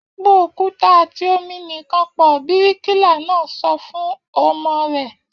Po òkúta àti omi nìkan pọ̀! Bíríkìlà náà sọ fún omi rẹ̀